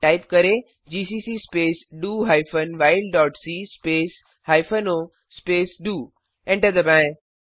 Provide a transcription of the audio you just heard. type करें GCC space D O hyphen while dot C space hyphen O space D O enter दबाएं